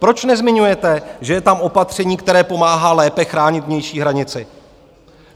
Proč nezmiňujete, že je tam opatření, které pomáhá lépe chránit vnější hranici?